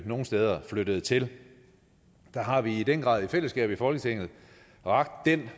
nogle steder flyttede til der har vi i den grad i fællesskab i folketinget rakt en